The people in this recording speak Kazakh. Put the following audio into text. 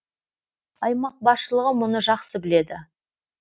аймақ басшылығы мұны жақсы біледі